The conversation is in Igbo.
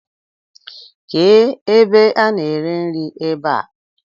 ké ebe a na ere nri ebá?